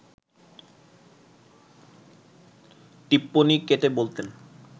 টিপ্পনী কেটে বলতেন